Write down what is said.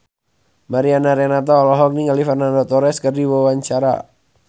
Mariana Renata olohok ningali Fernando Torres keur diwawancara